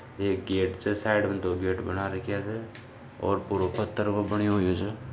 एक गेट छे साइड में दो गेट बना रखिया छे और पुरो पत्थर को बन्यो होयो छे।